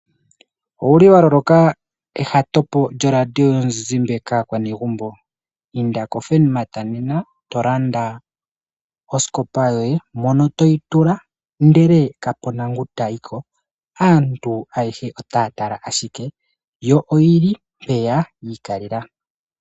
Owuli wa loloka ehatopo lyo radio yonzinzimbe kaakwanegumbo inda ko Furnmart nena eto landa osikopa yoye mono toyi tula ndele ka puna ngo tayiko , aantu otaya tala ashike yo oyili mpeya yi kalela.